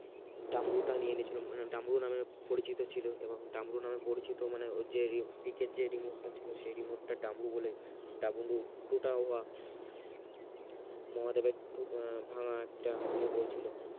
দাম্রু টা নিয়ে নিয়েছিল দাম্রু নামে পরিচিত ছিল এবং দামরু নামে পরিচিত মানে যে পিকের যে remote টা ছিল সেই remote টার দাম্রু মহাদেবের ভাঙ্গা একটা ইয়ে বলছিল